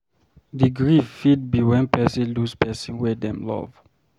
The grief fit be when person lose person wey dem love